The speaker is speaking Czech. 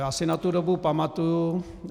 Já si na tu dobu pamatuji.